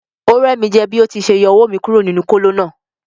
O rẹ mi jẹ bi o ti ṣe yọ owó mí kúrò nínú kolo náà.